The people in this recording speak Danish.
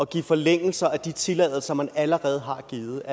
give forlængelser af de tilladelser man allerede har givet